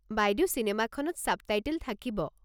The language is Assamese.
বাইদেউ চিনেমাখনত ছাবটাইটেল থাকিব।